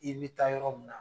I bi taa yɔrɔ minɛ na